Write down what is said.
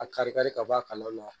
A kari kari ka bɔ a kalaw la